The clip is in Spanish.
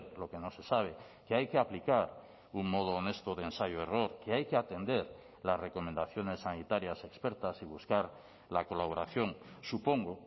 lo que no se sabe que hay que aplicar un modo honesto de ensayo error que hay que atender las recomendaciones sanitarias expertas y buscar la colaboración supongo